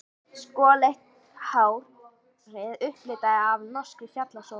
Skolleitt hárið upplitað af norskri fjallasól.